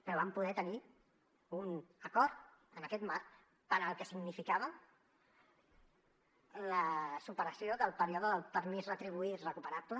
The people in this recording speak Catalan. però vam poder tenir un acord en aquest marc per al que significava la superació del període del permís retribuït recuperable